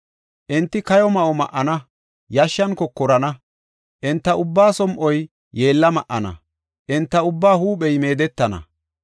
Enti kayo ma7o ma7ana; yashshan kokorana. Enta ubbaa som7oy yeella ma7ana; enta ubbaa huuphey meedettana.